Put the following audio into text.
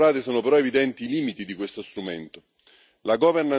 Dalle esperienze maturate sono però evidenti i limiti di questo strumento.